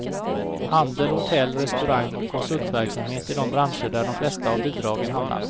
Handel, hotell, restaurang och konsultverksamhet är de branscher där de flesta av bidragen hamnar.